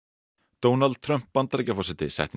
Donald Trump Bandaríkjaforseti setti inn